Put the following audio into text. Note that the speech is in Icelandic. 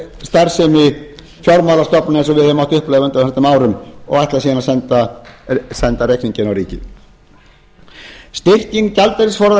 starfsemi fjármálastofnana sem við höfum mátt upplifa á undanförnum árum og ætla síðan að senda reikninginn á ríkið styrking gjaldeyrisforða